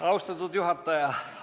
Austatud juhataja!